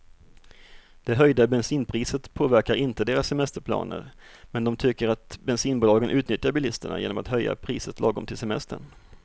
Det höjda bensinpriset påverkar inte deras semesterplaner, men de tycker att bensinbolagen utnyttjar bilisterna genom att höja priset lagom till semestern.